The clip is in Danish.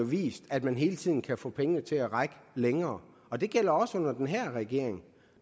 vist at man hele tiden kan få pengene til at række længere og det gælder også under den her regering